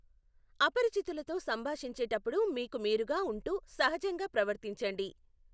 అపరిచితులతో సంభాషించేటప్పుడు మీకు మీరుగా ఉంటూ సహజంగా ప్రవర్తించండి.